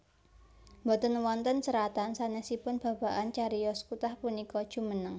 Boten wonten seratan sanesipun babagan cariyos kutah punika jumeneng